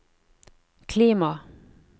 klima